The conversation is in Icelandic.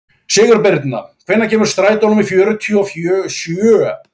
Sigurbirna, hvenær kemur strætó númer fjörutíu og sjö?